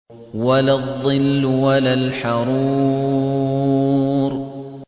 وَلَا الظِّلُّ وَلَا الْحَرُورُ